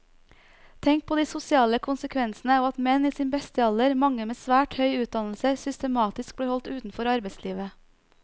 Tenk på de sosiale konsekvensene av at menn i sin beste alder, mange med svært høy utdannelse, systematisk blir holdt utenfor arbeidslivet.